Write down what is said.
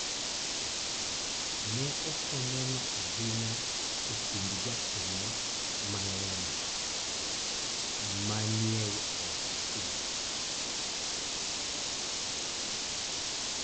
Ne ok oneno ahinya e kind jokanyo mang�eny ma ni e ot achiel.